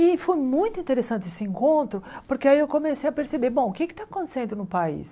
E foi muito interessante esse encontro, porque aí eu comecei a perceber, bom, o que está acontecendo no país?